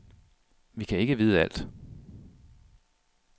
Vi kan ikke vide alt.